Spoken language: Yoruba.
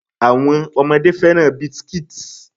Àwọn ọmọdé fẹ́ràn biscuits.